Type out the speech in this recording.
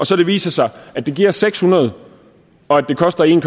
så viser sig at det giver seks hundrede og at det koster en